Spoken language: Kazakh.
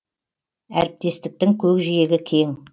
әріптестіктің көкжиегі кең